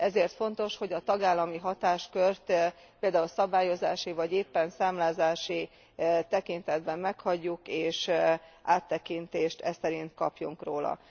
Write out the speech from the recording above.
Ezért fontos, hogy a tagállami hatáskört például szabályozási vagy éppen számlázási tekintetben meghagyjuk, és áttekintést eszerint kapjunk róla.